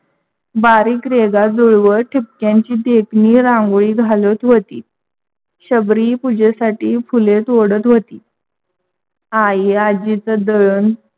बारीक रेघा जुळवत ठिपक्यांची देखणी रांगोळी घालत होती. शबरी पूजेसाथी फूल तोडत होती. आई आजीचा दळण